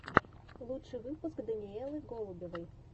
лучший выпуск даниэлы голубевой